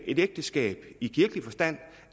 et ægteskab i kirkelig forstand